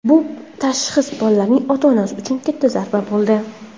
Bu tashxis bolaning ota-onasi uchun katta zarba bo‘ldi.